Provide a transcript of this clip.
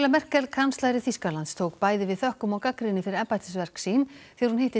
Merkel kanslari Þýskalands tók bæði við þökkum og gagnrýni fyrir embættisverk sín þegar hún hitti